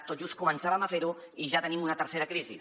tot just començàvem a fer ho i ja tenim una tercera crisi